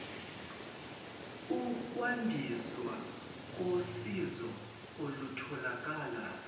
ukwandiswa kosizo olutholakala